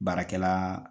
Baarakɛla